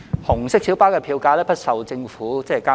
紅色小巴的票價不受政府監管。